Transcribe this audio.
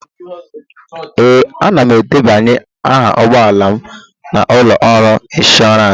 Ee, ana m edebanye aha ụgbọ ala m na ụlọ ọrụ ịnshọọransị